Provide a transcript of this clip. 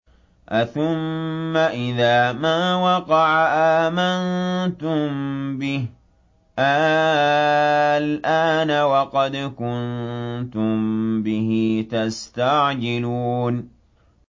أَثُمَّ إِذَا مَا وَقَعَ آمَنتُم بِهِ ۚ آلْآنَ وَقَدْ كُنتُم بِهِ تَسْتَعْجِلُونَ